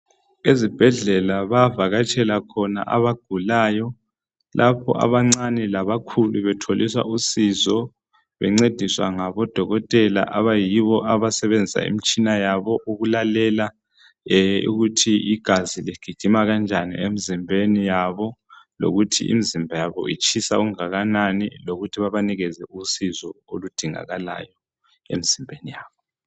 Ezibhedlela bayavakatshela khona abagulayo lapho abancane labakhulu betholiswa usizo bencediswa ngabodokotela abayibo abasebenzisa imitshina yabo ukulalela ukuthi igazi ligijima kanjani emzimbeni yabo .Lokuthi imzimba yabo itshisa okungakanani lokuthi babanikeze usizo oludingakalayo emzimbeni yabo .